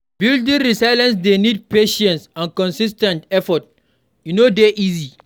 Building resilience dey need patience and consis ten t effort; e no dey easy.